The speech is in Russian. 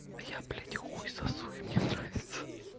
а я блядь хуй сосу и мне нравится